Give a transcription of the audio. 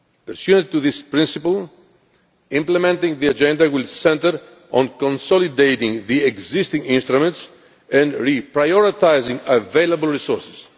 Pursuant to this principle, implementing the agenda will centre on consolidating the existing instruments and reprioritising available resources.